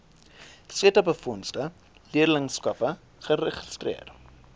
setabefondse leerlingskappe geregistreer